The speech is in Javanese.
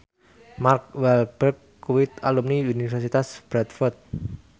Mark Walberg kuwi alumni Universitas Bradford